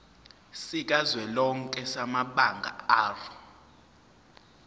sikazwelonke samabanga r